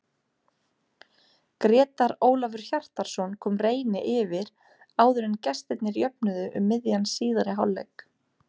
Grétar Ólafur Hjartarson kom Reyni yfir áður en gestirnir jöfnuðu um miðjan síðari hálfleik.